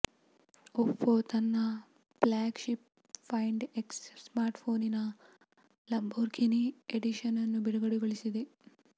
Oppo ತನ್ನ flagship find X smart ಫೋನಿನ Lamborghini edition ನ್ನು ಬಿಡುಗಡೆಗೊಳಿಸಿದೆ